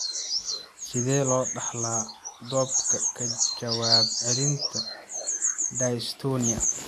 Sidee loo dhaxlaa dopa ka jawaab celinta dystonia?